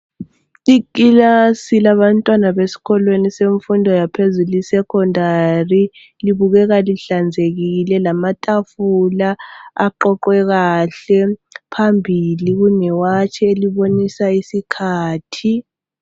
Ikilasi labantwana beskolweni semfundo yaphezulu isecondary libukeka lihlanzekile lamatafula aqoqwe kahle phambili kunewatshi elibonisa isikhathi.